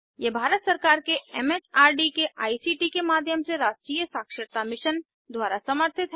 यह भारत सरकार के एमएचआरडी के आईसीटी के माध्यम से राष्ट्रीय साक्षरता मिशन द्वारा समर्थित है